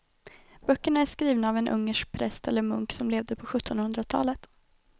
Böckerna är skrivna av en ungersk präst eller munk som levde på sjuttonhundratalet.